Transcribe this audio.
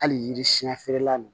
Hali yiri siɲɛ feerela nin